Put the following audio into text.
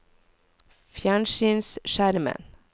fjernsynsskjermen